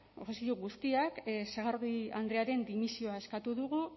oposizio guztiak sagardui andrearen dimisioa eskatu dugu